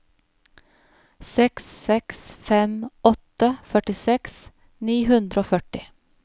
seks seks fem åtte førtiseks ni hundre og førti